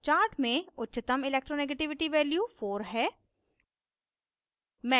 chart में उच्चतम electronegativity value 4 है